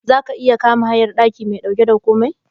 Zaka iya kama hayar daki mai dauke da komai?